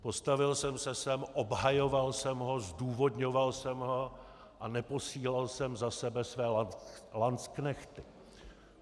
Postavil jsem se sem, obhajoval jsem ho, zdůvodňoval jsem ho a neposílal jsem za sebe své lancknechty.